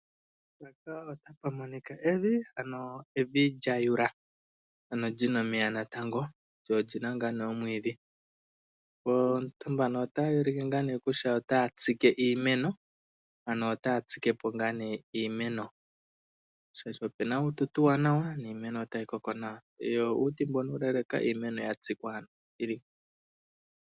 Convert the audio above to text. Uuna omvula yaloka nevi lyatuta nawa, oyendji yo manafaalama oye hole okutsika iimeno, opo yitsapuke nawa yoyi lokelwemo mevi manga omvula ta yiloko.